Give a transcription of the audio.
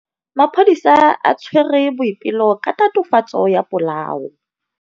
Maphodisa a tshwere Boipelo ka tatofatsô ya polaô.